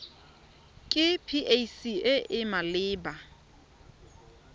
ke pac e e maleba